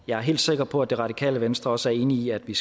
jeg er helt sikker på at det radikale venstre også enig i at vi